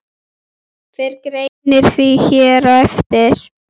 Fer greinin því hér á eftir.